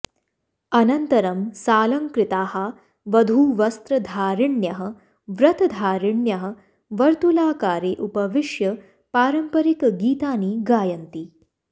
अनन्तरं सालङ्कृताः वधूवस्त्रधारिण्यः व्रतधारिण्यः वर्तुलाकारे उपविष्य पारम्परिकगीतानि गायन्ति